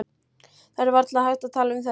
Það er varla hægt að tala um þetta.